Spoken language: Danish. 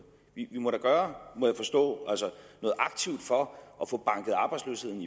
vi må da gøre må jeg forstå noget aktivt for at få banket arbejdsløsheden